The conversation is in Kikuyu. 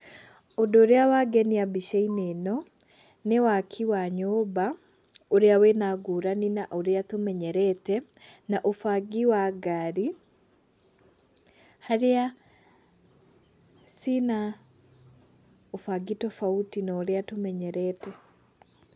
Ũndũ ũrĩa wangenia mbicainĩ ino nĩ waki wa nyũmba ũria wĩna ngũrani na ũria tũmenyerete na ũbangi wa ngari haria ciĩna ũbangi tofauti na ũrĩa tũmenyerete.